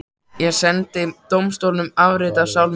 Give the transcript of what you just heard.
Ég sendi dómstólunum afrit af sál minni.